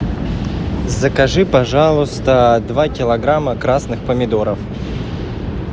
закажи пожалуйста два килограмма красных помидоров